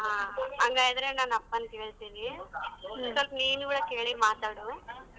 ಹಾ ಹಂಗಾದ್ರೆ ನನ್ನಪ್ಪನ್ ಕೇಳ್ತೀನಿ ಸ್ವಲ್ಪ್ ನೀನುವೆ ಕೇಳಿ ಮಾತಾಡು.